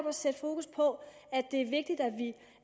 at sætte fokus på